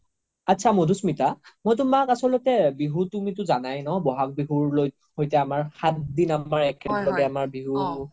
আত্চা মাধুস্মিতা মই তুমাক আচল্তে বিহু তুমিতো জানাই বহাগ বিহুৰ সৈতে আমাৰ সাত দিন আমাৰ একেলগে বিহু